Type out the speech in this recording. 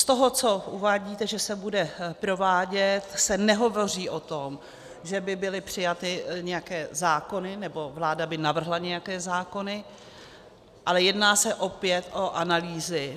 V tom, co uvádíte, že se bude provádět, se nehovoří o tom, že by byly přijaty nějaké zákony, nebo vláda by navrhla nějaké zákony, ale jedná se opět o analýzy.